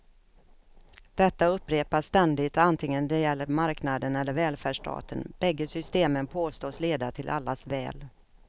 Detta upprepas ständigt antingen det gäller marknaden eller välfärdsstaten, bägge systemen påstås leda till allas väl.